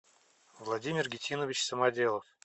владимир гитинович самоделов